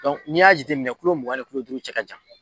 ni y'a jateminɛ kulo mugan ni kulo duuru cɛ ka jan.